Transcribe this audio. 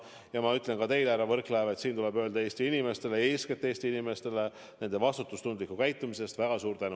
Ja ma ütlen ka teile, härra Võrklaev, et siin tuleb öelda Eesti inimestele, eeskätt Eesti inimestele nende vastutustundliku käitumise eest väga suur tänu.